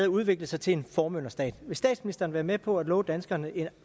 udvikle sig til en formynderstat vil statsministeren være med på at love danskerne en